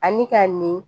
Ani ka nin